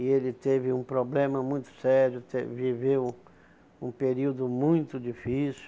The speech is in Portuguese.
E ele teve um problema muito sério, teve viveu um período muito difícil.